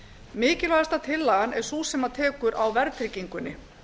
mikilvægasta tillagan er sú sem tekur á verðtryggingunni